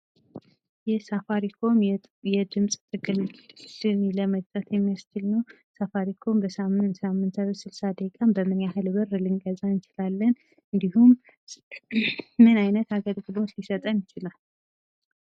ይህ ሳፋሪኮም የድምፅ ጥቅልን ለመግዛት የሚያስችል ነው። ሳፋሪኮም በሳምንት ሳምንታዊ 60 ደቂቃን በምን ያክል ብር ልንገዛ እንችላለን? እንዲሁም ምን አይነት አገልግሎት ሊሰጠን ይችላል?